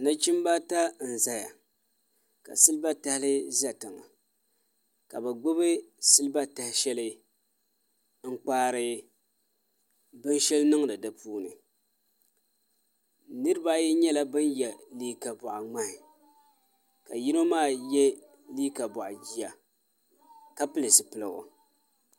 Nachimbi ata n ʒɛya ka silba tahali ʒɛ tiŋa ka bi gbubi silba tahali n kpaari binshɛli niŋdi di puuni niraba ayi nyɛla bin yɛ liiga boɣa ŋmahi ka yino maa yɛ liiga boɣa jia ka pili zipiligu